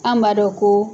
An b'a dɔn ko